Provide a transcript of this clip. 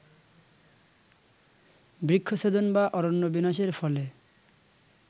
বৃক্ষছেদন বা অরণ্য বিনাশের ফলে